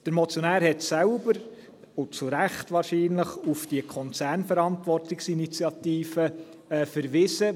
Der Motionär hat selber, und wahrscheinlich zu Recht, auf die Konzernverantwortungsinitiative verwiesen.